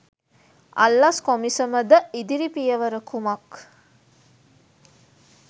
අල්ලස් කොමිසම ද ඉදිරි පියවර කුමක්